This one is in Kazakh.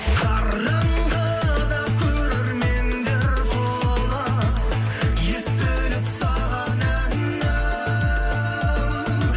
қараңғыда көрермендер толы естіліп саған әнім